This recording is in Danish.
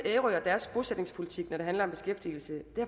ærø og deres bosætningspolitik når det handler om beskæftigelse det